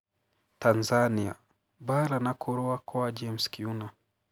Tanzania : Mbaara na kũrũa kwa James Kiuna